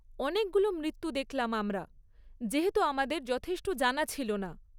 অনেকগুলো মৃত্যু দেখলাম আমরা, যেহেতু আমাদের যথেষ্ট জানা ছিল না।